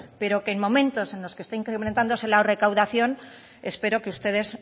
pero que en momentos que está incrementándose la recaudación espero que ustedes